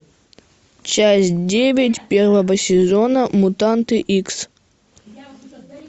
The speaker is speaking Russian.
часть девять первого сезона мутанты икс